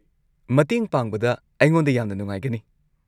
ꯃꯇꯦꯡ ꯄꯥꯡꯕꯗ ꯑꯩꯉꯣꯟꯗ ꯌꯥꯝꯅ ꯅꯨꯡꯉꯥꯏꯒꯅꯤ꯫